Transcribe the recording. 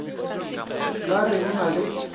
ba re o na le